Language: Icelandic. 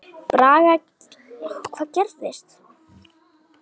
Braga gerðu ráð fyrir.